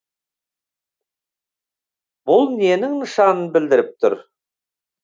бұл ненің нышанын білдіріп тұр